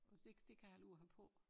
Og det det kan jeg holde ud at have på